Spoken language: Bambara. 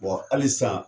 halisa